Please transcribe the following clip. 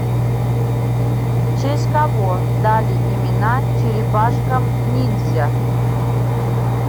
в честь кого дали имена черепашкам ниндзя